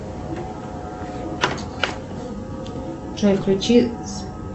джой включи